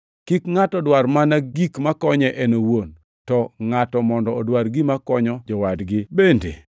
Kik ngʼato dwar mana gik makonye en owuon, to ngʼato mondo odwar gima konyo jowadgi bende.